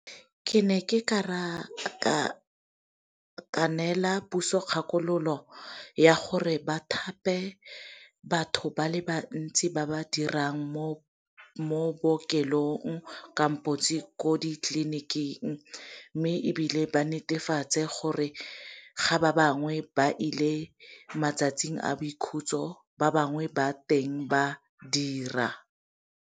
Ke ne ke ka nela puso kgakololo ya gore ba thape batho ba le bantsi ba ba dirang mo bookelong kampo ko ditleliniking, mme ebile ba netefatse gore ga ba bangwe ba ile matsatsing a boikhutso ba bangwe ba teng ba dira.